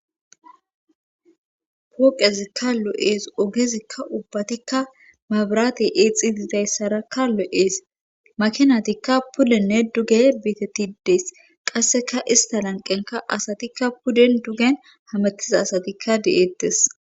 pooqezikka lo7ees ogezikka ubbatikka mabirate eexi didayssara ka lo7ees makinatikka pulenne duge biitettidees qasseka ista lanqenka asatikka puden dugen hametiza asatikka de7eettes